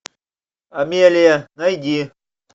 амелия найди